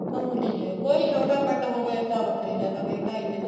ਮਾਮੂਲੀ ਜੀ ਆ ਕੋਈ ਛੋਟਾ ਪਿੰਡ ਹੋਵੇ ਤਾਂ ਵੱਖਰੀ ਗੱਲ ਹੈ ਨਹੀਂ ਢਾਈ ਤਿੰਨ